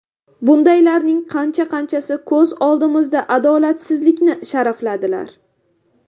Bundaylarning qancha-qanchasi ko‘z oldimizda adolatsizlikni sharafladilar.